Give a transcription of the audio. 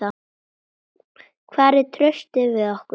Hvar er traustið við okkur?